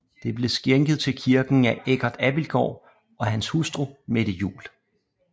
Det blev skænket til kirken af Eggert Abildgaard og hans hustru Mette Juel